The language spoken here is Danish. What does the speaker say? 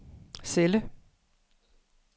celle